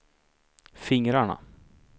fingrarna